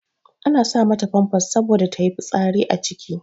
Ana sa mata famfas saboda ta yi fitsari a ciki.